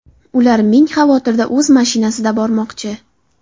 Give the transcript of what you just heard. Ular ming xavotirda o‘z mashinasida bormoqchi.